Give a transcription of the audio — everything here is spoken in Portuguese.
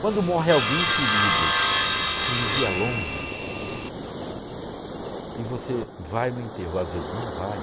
Quando morre alguém querido, que vivia longe, e você vai no enterro, às vezes não vai,